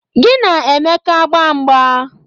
Gị na Emeka gbaa mgba!